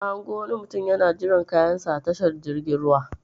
Na hango wani mutum yana jiran kayan sa a tashar jirgin ruwa.